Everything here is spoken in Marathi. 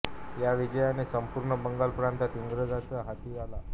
या विजयाने संपूर्ण बंगाल प्रांत इंग्रजांच्या हाती आला